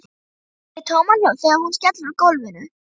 Heyri tómahljóð þegar hún skellur á gólfinu.